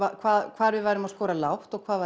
hvar hvar við værum að skora lágt og hvar